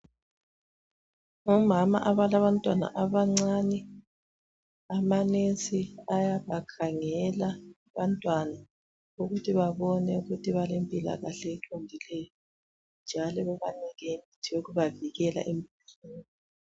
Ngomama abalabantwana abancani. Amanesi ayabakhangela abantwana ukuthi babone ukuthi balempilakahle eqondileyo abantwana njalo bebanike imithi yokubavikela emkhuhlaneni.